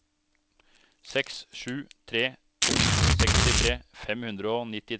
seks sju tre to sekstitre fem hundre og nittitre